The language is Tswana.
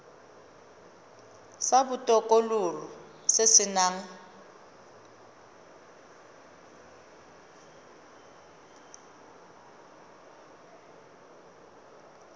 sa botokololo se se nang